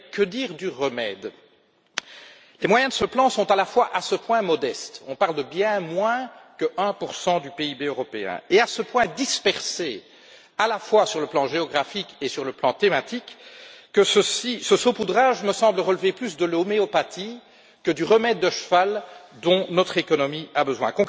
Mais que dire du remède? Les moyens de ce plan sont, à la fois, à ce point modestes on parle de bien moins que 1 du PIB européen et à ce point dispersés, à la fois sur le plan géographique et sur le plan thématique, que ce saupoudrage me semble relever plus de l'homéopathie que du remède de cheval dont notre économie a besoin.